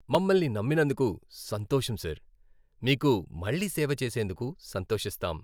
మమ్మల్ని నమ్మినందుకు సంతోషం సార్. మీకు మళ్ళీ సేవ చేసేందుకు సంతోషిస్తాం.